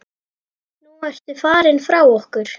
Nú ertu farinn frá okkur.